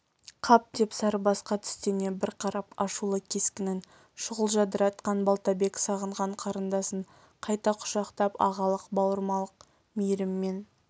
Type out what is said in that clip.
қап деп сарыбасқа тістене бір қарап ашулы кескінін шұғыл жадыратқан балтабек сағынған қарындасын қайта құшақтап ағалық бауырмалдқ мейіріммен